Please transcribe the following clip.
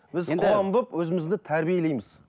біз қоғам болып өзімізді тәрбиелейміз